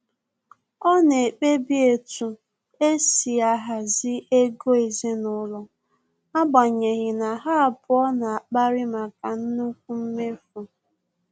Ọ na-ekpebi etu esi ahazi ego ezinụlọ, agbanyeghi na ha abụọ na akpari maka nnukwu mmefu